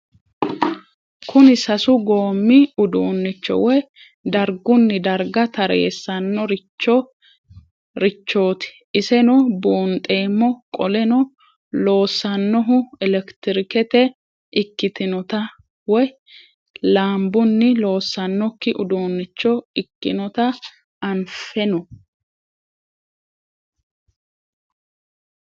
Kuni sasu goomi udunicho woyi darguni darda taareesano richot iseno bunxemo qoleno loosanohu elektiriketi ikitinotna woyi laambuni loosanok udunicho ikinota anfeno?